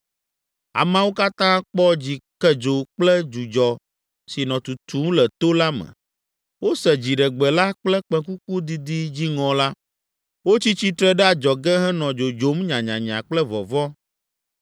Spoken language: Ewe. Ameawo katã kpɔ dzikedzo kple dzudzɔ si nɔ tutum le to la me. Wose dziɖegbe la kple kpẽkuku didi dziŋɔ la. Wotsi tsitre ɖe adzɔge henɔ dzodzom nyanyanya kple vɔvɔ̃.